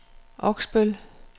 Oksbøl